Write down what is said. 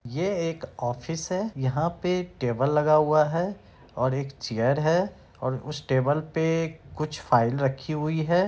ये एक ऑफिस है यहाँ पे एक टेबल लगा हुआ है और एक चेयर है और उस टेबल पे कुछ फाइल रखी हुई है।